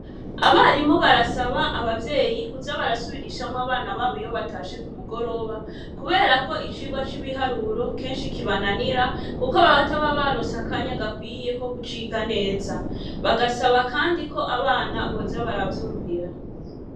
Abarimu barasaba abavyeyi kuja barasubirishamwo abana babo iyo batashe ku mugoroba, kubera ko icirwa c'ibiharuro kenshi kibananira, kuko babataba baronse akanya gakwiyeko kucika neza, bagasaba kandi ko abana boza baravyumvira.